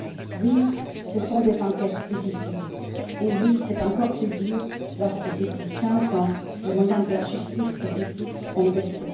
Oui, ce sont des enquêtes difficiles, et oui, c'est encore plus dur lorsque, depuis quinze ans, les moyens de la justice et du fisc ont baissé.